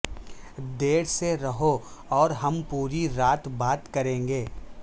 دیر سے رہو اور ہم پوری رات بات کریں گے